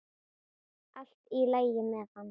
Allt í lagi með hann.